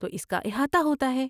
تو اس کا احاطہ ہوتا ہے۔